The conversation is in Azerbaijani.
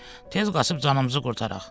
Tez qaçıb canımızı qurtaraq.